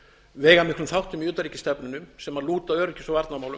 veigamiklum þáttum í utanríkisstefnu sem lúta öryggis og varnarmálum